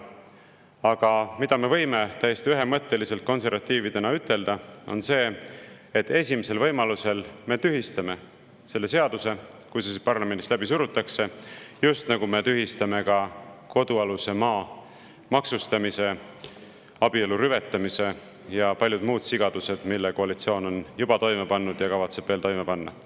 Aga me võime täiesti ühemõtteliselt konservatiividena ütelda, et esimesel võimalusel me tühistame selle seaduse, kui see parlamendist nüüd läbi surutakse, just nagu me tühistame ka kodualuse maa maksustamise, abielu rüvetamise ja paljud muud sigadused, mis koalitsioon on juba toime pannud ja kavatseb veel toime panna.